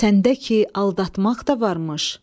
Səndə ki, aldatmaq da varmış.